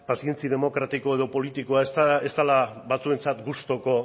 pazientzia demokratiko eta politikoa ez dela batzuentzat gustuko